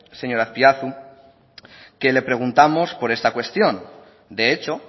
señor azpiazu que le preguntamos por esta cuestión de hecho